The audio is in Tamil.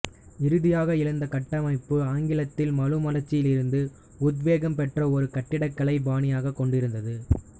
இறுதியாக எழுந்த கட்டமைப்பு ஆங்கில மறுமலர்ச்சியிலிருந்து உத்வேகம் பெற்ற ஒரு கட்டிடக்கலை பாணியைக் கொண்டிருந்தது